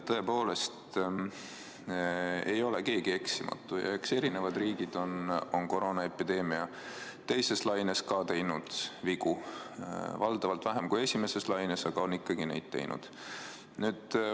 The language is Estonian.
Tõepoolest ei ole keegi eksimatu ja eks erinevad riigid on koroonaepideemia teises laines ka teinud vigu, valdavalt vähem kui esimeses laines, aga siiski on neid teinud.